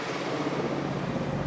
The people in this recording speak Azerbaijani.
Yığıb yığıb yığıb gedir.